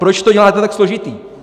Proč to děláte tak složitý?